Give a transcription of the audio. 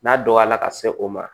N'a dɔgɔyala ka se o ma